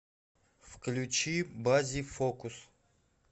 включи баззи фокус